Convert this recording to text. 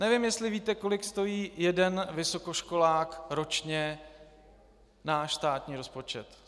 Nevím, jestli víte, kolik stojí jeden vysokoškolák ročně náš státní rozpočet.